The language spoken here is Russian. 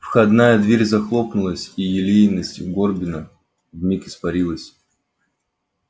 входная дверь захлопнулась и елейность горбина вмиг испарилась